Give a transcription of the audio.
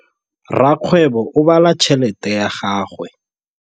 Rakgwêbô o bala tšheletê ya gagwe.